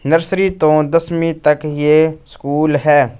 Nursery तो दसवीं तक ही ये स्कूल है।